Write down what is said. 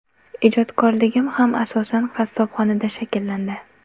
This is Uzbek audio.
Ijodkorligim ham asosan qassobxonada shakllandi.